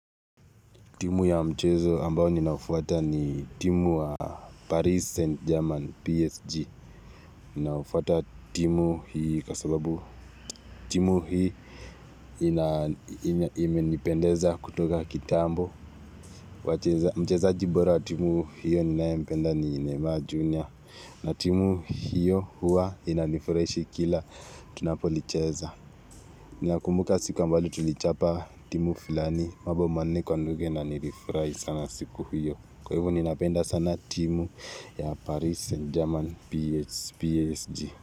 Timu ya mchezo ambao ninaufuata ni timu wa Paris Saint-Germain PSG Ninaufuata timu hii kwa sababu timu hii imenipendeza kutoka kitambo Mchezaji bora wa timu hiyo ninayempenda ni Nema Junior na timu hiyo huwa inanifurahishi kila tunapolicheza Ninakumbuka siku ambayo tulichapa timu fulani mabao manne kwa nunge na nilifurahi sana siku hiyo Kwwa hivo ninapenda sana timu ya Paris Saint German PSG.